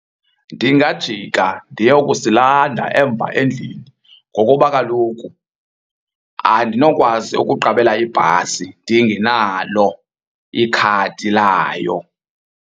Ndingajika ndiyokusilanda emva endlini ngokuba kaloku andinokwazi ukuqabela ibhasi ndingenalo ikhadi layo.